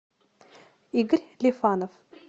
игорь лифанов